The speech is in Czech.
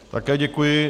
Také děkuji.